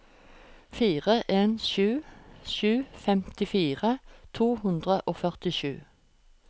fire en sju sju femtifire to hundre og førtisju